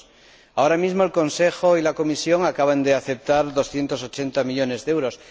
2. Ahora mismo, el Consejo y la Comisión acaban de aceptar 280 millones de euros.